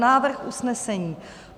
Návrh usnesení: